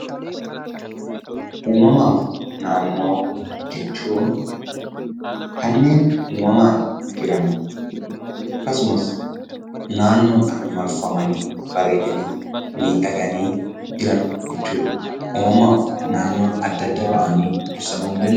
Uumamaaf naannoo jechuun kanneen uumamaan jiran akkasumas naannoodhaan marfamanii, bareedanii, miidhaganii jiran jechuudha. Uumamaaf naannoon adda adda ba'anii ibsamuu ni danda'uu?